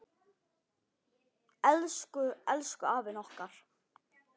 Elsku, elsku afinn okkar.